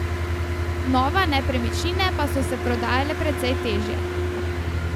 Nova nepremičnine pa so se prodajale precej težje.